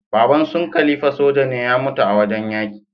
Baban sun khalifa soja ne ya mutu a wajan yaki